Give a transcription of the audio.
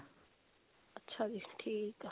ਅੱਛਾ ਜੀ ਠੀਕ ਹੈ